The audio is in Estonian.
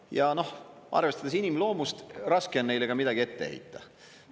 Ja noh, arvestades inimloomust, raske on neile ka midagi ette heita.